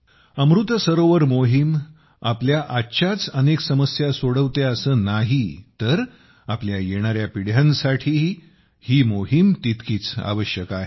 अमृत सरोवर मोहिम आपल्या आजच्याच अनेक समस्या सोडवते असे नाही तर आपल्या येणाऱ्या पिढ्यांसाठीही ही मोहिम तितकीच आवश्यक आहे